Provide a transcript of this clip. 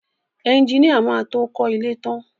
Ẹjiníà má tó kọ ilé ẹ tán.